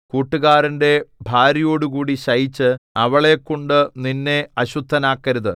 കൂട്ടുകാരന്റെ ഭാര്യയോടുകൂടി ശയിച്ച് അവളെക്കൊണ്ടു നിന്നെ അശുദ്ധനാക്കരുത്